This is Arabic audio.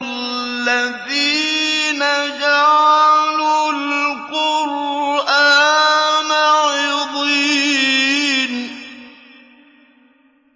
الَّذِينَ جَعَلُوا الْقُرْآنَ عِضِينَ